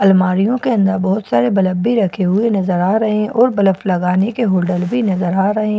अलमारियों के अंदर बहुत सारे बलफ भी रखे हुए नजर आ रहे हैं और ब्लफ लगाने के होल्डर भी नजर आ रहे हैं।